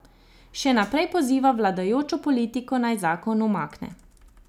Še naprej poziva vladajočo politiko, naj zakon umakne.